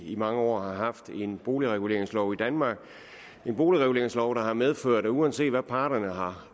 i mange år har haft en boligreguleringslov i danmark en boligreguleringslov der har medført at uanset hvad parterne har